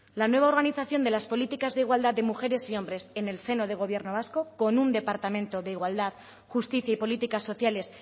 la nueva organización de las políticas de igualdad de mujeres y hombres en el seno del gobierno vasco con un departamento de igualdad justicia y políticas sociales